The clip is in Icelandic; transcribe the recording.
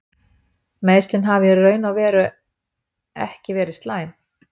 Meiðslin hafa í raun og veru ekki verið slæm.